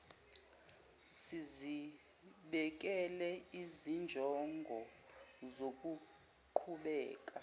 sizibekele izinjongo zokuqhubeka